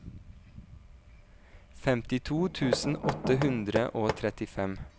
femtito tusen åtte hundre og trettifem